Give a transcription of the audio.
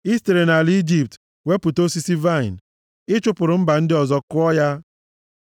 I sitere nʼala Ijipt wepụta osisi vaịnị; ị chụpụrụ mba ndị ọzọ, kụọ ya.